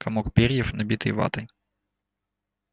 комок перьев набитый ватой